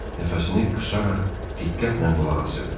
Nəfəsini qısaraq diqqətlə qulaq asırdı.